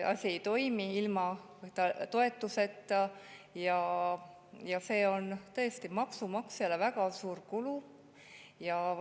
Asi ei toimi ilma toetuseta ja see on maksumaksjale tõesti väga suur kulu.